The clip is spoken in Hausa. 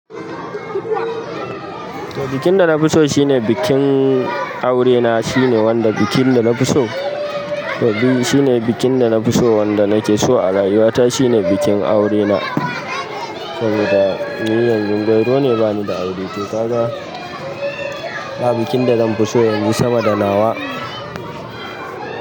Bikin da na fi so shine bikin aure na, shine wanda bikin da na fi so. To biyu shine bikin da na fi so wanda nake so a rayuwa ta shine bikin aure na. Saboda ni yanzun gwauro ne bani da aure to kaga ba bikin da zanfi so yanzu sama da nawa.